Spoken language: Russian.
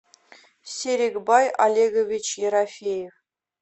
серикбай олегович ерофеев